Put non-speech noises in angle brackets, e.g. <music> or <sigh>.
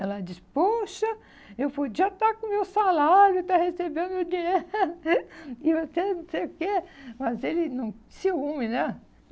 Ela diz, poxa, eu podia estar com o meu salário, estar recebendo o dinheiro, <laughs> e você não sei o quê, mas ele não... ciúme, né?